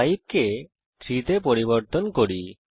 5 কে 3 তে পরিবর্তন করি